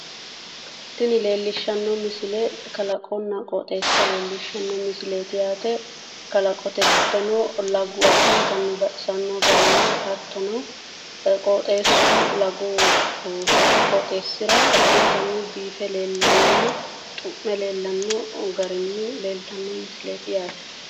tini leellishshanno misile kalaqonna qooxeesa leellishshanno misileeti yaate kalaqote giddono lagu addintanni baxisanno garinni hattono qooxeessu lagu qooxeessira addintanni biife leellannonna xu'me leellanno garinni leeltanno misileeti yaate.